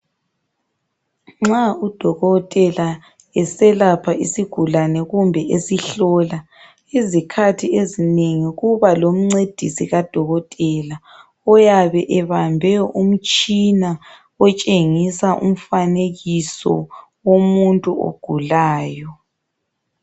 Nxa udokotela esalapha isigulane kumbe esihlola izikhathi ezinengi kuba lomncedisi kadokotela uyabe ebambe umtshina otshengisa umfanekiso womuntu ogulayo.